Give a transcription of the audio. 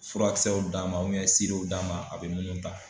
Furakisɛw d'a ma d'a ma a bɛ munnu ta.